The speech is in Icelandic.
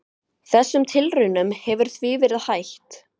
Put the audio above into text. Þessum tilraunum hefur því verið hætt.